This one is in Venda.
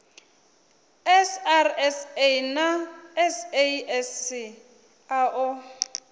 srsa na sasc a o